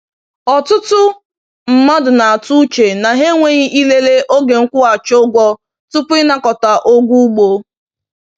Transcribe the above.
“Ọtụtụ mmadụ na-atụ uche na ha enweghị ilele oge nkwụghachi ụgwọ tupu ịnakọta ụgwọ ugbo.”